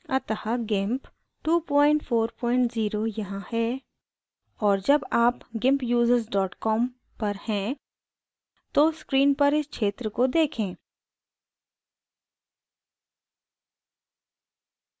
अतः gimp 240 यहाँ है और जब आप gimpusers com पर हैं तो screen पर इस क्षेत्र को देखें